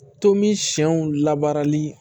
Tomi siyɛnw labaarali